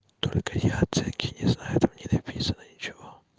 только я оценки не знаю там не написано ничего